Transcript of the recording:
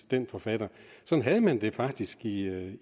den forfatter sådan havde man det faktisk i